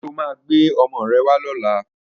Ṣé o máa gbé ọmọ rẹ wá lọ́la?